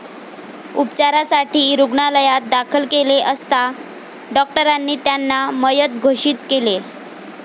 उपचारासाठी रुग्णालयात दाखल केले असता डॉक्टरांनी त्यांना मयत घोषित केले.